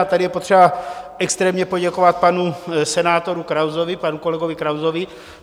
A tady je potřeba extrémně poděkovat panu senátoru Krausovi, panu kolegovi Krausovi.